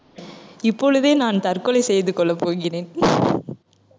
இப்பொழுதே நான் தற்கொலை செய்து கொள்ளப் போகிறேன்